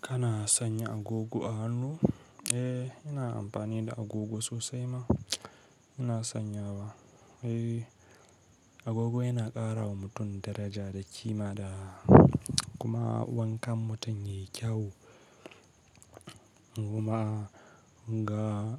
Kana sanya agogo a hannu? Eh, ina amfani da agogo sosai ma. Ina sanya ba, eh, agogo yana ƙara wa mutum daraja da kima da kuma wankan mutum yayi kyau. Guma ga